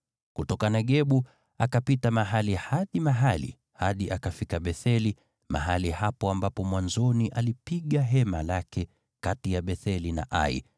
Kutoka Negebu, akapita mahali hadi mahali, hadi akafika Betheli, mahali hapo ambapo mwanzoni alipiga hema lake kati ya Betheli na Ai